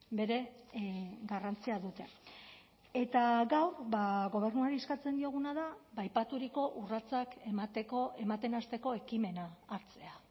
bere garrantzia dute eta gaur gobernuari eskatzen dioguna da aipaturiko urratsak emateko ematen hasteko ekimena hartzea